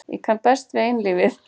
Ég kann best við einlífið.